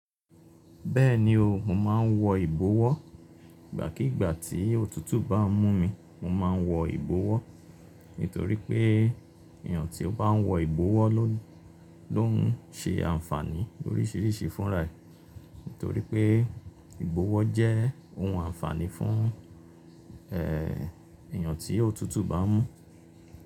Bẹ́ẹ̀ni o, mo máa ń wọ ìbowọ́. Ìgbàkígbà tí òtútù bá ń mú mi, mo máa ń wọ ìbọwọ́. Nítorí pé èèyàn tí ó bá ń wọ ìbowọ́ ló, ló ń ṣe àǹfààní oríṣiríṣi fún ra. Nítorí pé ìbowọ́ jẹ́ ohun àǹfààní fún, eeh, èèyàn tí òtútù bá ń mú.